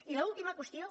i l’última qüestió